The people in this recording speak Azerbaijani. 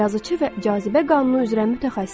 Yazıçı və cazibə qanunu üzrə mütəxəssis.